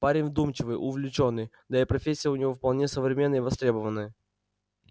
парень вдумчивый увлечённый да и профессия у него вполне современная и востребованная